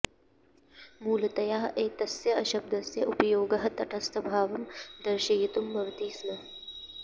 मूलतया एतस्य शब्दस्य उपयोगः तटस्थभावं दर्शयितुं भवति स्म